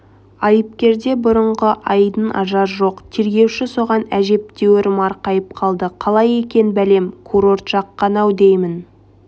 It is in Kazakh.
айыпкерде бұрынғы айдын-ажар жоқ тергеуші соған әжептәуір марқайып қалды қалай екен бәлем курорт жаққан-ау деймін